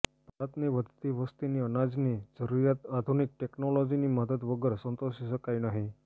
ભારતની વધતી વસ્તીની અનાજની જરૂરિયાત આધુનિક ટેક્નોલોજિની મદદ વગર સંતોષી શકાય નહીં